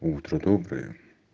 утро доброе